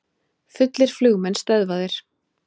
Fullir flugmenn stöðvaðir